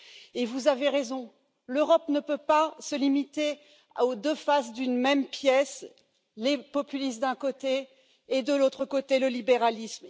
Et vous avez raison, l'Europe ne peut pas se limiter aux deux faces d'une même pièce les populistes d'un côté et de l'autre côté le libéralisme.